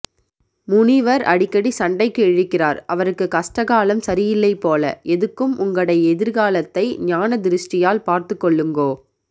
முனிவர் அடிக்கடி சண்டைக்கு இழுக்கிறார் அவருக்கு கஸ்ட காலம் சரியில்லை போல எதுக்கும் உங்கடை எதிர்காலத்தை ஞானதிருஸ்டியால் பார்த்து கொள்ளுங்கோ